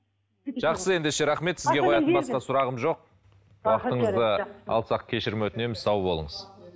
жақсы ендеше рахмет басқа сұрағым жоқ алсақ кешірім өтінеміз сау болыңыз